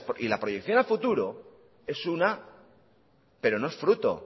y la proyección a futuro es una pero no es fruto